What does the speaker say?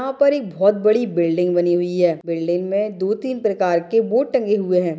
यहाँ पर एक बहुत बड़ी बिल्डिंग बनी हुई है बिल्डिंग मे दो तीन प्रकार के बोर्ड टंगे हुए है।